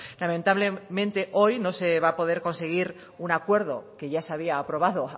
lamentablemente hoy no se va a poder conseguir un acuerdo que ya se había aprobado